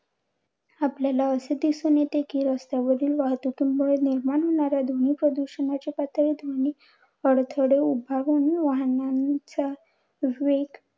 आपल्याला असे दिसून येते कि, रस्त्यावरील वाहतुकीमुळे निर्माण होणाऱ्या ध्वनी प्रदूषणाची पातळी ध्वनी अडथळे उभारून वाहनांचा वेग